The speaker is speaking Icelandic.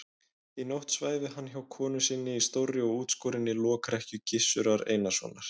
Í nótt svæfi hann hjá konu sinni í stórri og útskorinni lokrekkju Gizurar Einarssonar.